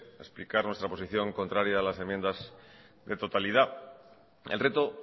explicar nuestra posición contraria a las enmiendas de totalidad el reto